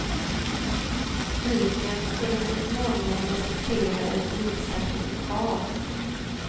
Dyken skulle så småningom resultera i dykcertifikat.